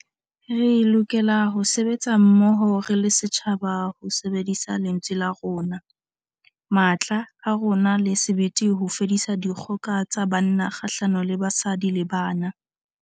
Re lokela ho sebetsa mmoho re le setjhaba ho sebedisa lentswe la rona, matla a rona le sebete ho fedisa dikgoka tsa banna kgahlano le basadi le bana.